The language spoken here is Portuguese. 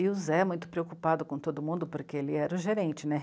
E o Zé, muito preocupado com todo mundo, porque ele era o gerente, né?